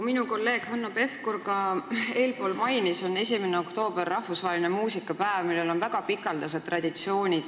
Nagu kolleeg Hanno Pevkur enne märkis, 1. oktoober on rahvusvaheline muusikapäev, mille tähistamisel on väga pikaaegsed traditsioonid.